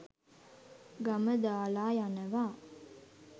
ගම දාලා යනවා.